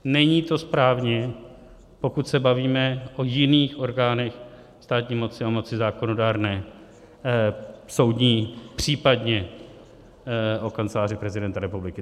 Není to správně, pokud se bavíme o jiných orgánech státní moci a moci zákonodárné, soudní, případně o Kanceláři prezidenta republiky.